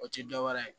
O tɛ dɔwɛrɛ ye